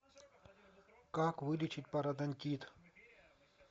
как вылечить пародонтит